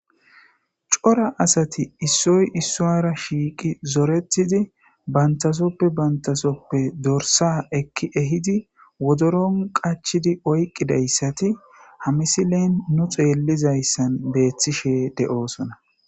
Coora asati issoy issora shiiqi zoretiidi banttasoppe banttasoppe doorssa ekki ehiidi woddoron qachchidi oyqqidayssati ha missilen nu xeelizayssan bettishe de'ossona.